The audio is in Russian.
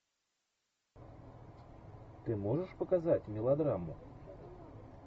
ты можешь показать мелодраму